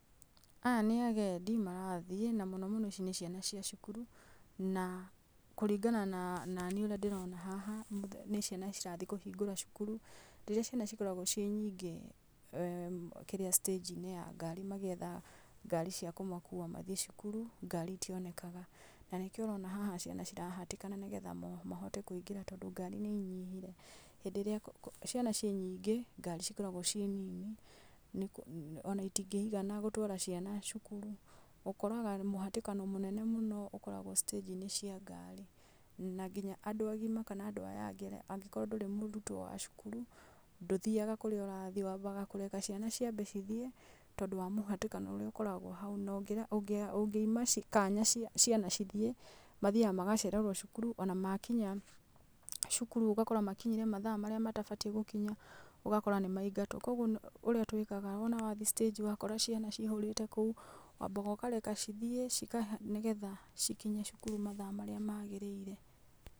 Aya nĩ agendi marathiĩ na mũno mũno ici nĩ ciana cia cukuru na kũringana na, na niĩ ũrĩa ndĩrona haha mũthe nĩ ciana cirathiĩ kũhingũra cukuru. Rĩrĩa ciana cikoragwo ciĩ nyingĩ kĩrĩa stage -inĩ ya gari magĩetha ngari cia kũmakuwa mathiĩ cukuru ngari itionekaga, na nĩkĩo ũrona haha ciana cikĩhatĩkana nĩgetha mo mahote kũingĩra tondũ ngari nĩ inyihire. Hĩndĩ ĩrĩa kũ kũ ciana cinyingĩ, ngari cikoragwo ciĩ nini nĩk ona itingĩigana gũtwara ciana cukuru. Ũkoraga mũhatĩkano mũnene mũno ũkoragwo stage -inĩ cia ngari na nginya andũ agima kana andũ aya angĩ angĩkorwo ndũrĩ mũrutwo wa cukuru ndũthiaga kũrĩa ũrathiĩ wambaga kũreka ciana ciambe cithiĩ tondũ wa mũhatĩkano ũrĩa ũkoragwo hau no ngĩra ũngĩa ũngĩuma ci kanya ci ciana cithiĩ, mathiaga magacererwo cukuru, ona makinya cukuru ũgakora makinyire mathaa marĩa matabatiĩ gũkinya ũgakora nĩmaingatwo. Kwoguo ũ ũrĩa twĩkaga wona wathiĩ stage -inĩ wakora ciana ciihũrĩte kũu wambaga kũreka cithiĩ cikeha nĩgetha cikinye cukuru mathaa marĩa magĩrĩire.